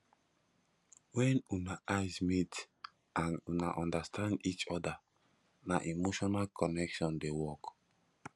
wen una eyes meet and una understand each oda na emotional connection dey work